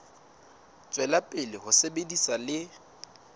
tswela pele ho sebetsa le